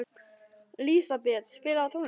Lísabet, spilaðu tónlist.